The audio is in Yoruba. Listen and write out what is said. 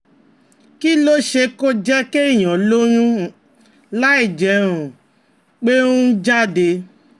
Kí ló ṣeé ṣe kó jẹ́ kéèyàn lóyún um láìjẹ́ um pé ó um jáde?